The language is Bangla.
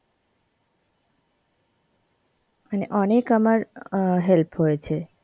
মানে অনেক আমার অ্যাঁ help হয়েছে.